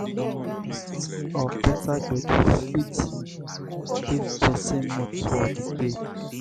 playlist of better gbedu fit lift person mood for di day